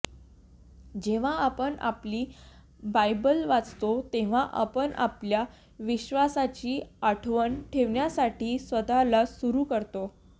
जेव्हा आपण आपली बायबल वाचतो तेव्हा आपण आपल्या विश्वासाची आठवण ठेवण्यासाठी स्वतःला सुरु करतो